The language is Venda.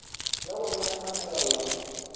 ya wanala kha mulayo wa